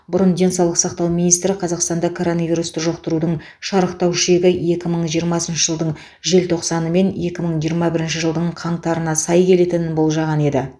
бұрын денсаулық сақтау министрі қазақстанда коронавирусты жұқтырудың шарықтау шегі екі мың жиырмасыншы жылдың желтоқсаны мен екі мың жиырма бірінші жылдың қаңтарына сай келетінін болжаған еді